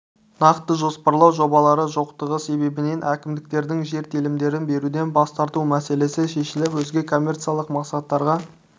нақты жоспарлау жобалары жоқтығы себебінен әкімдіктердің жер телімдерін беруден бас тарту мәселесі шешіліп өзге коммерциялық мақсаттарға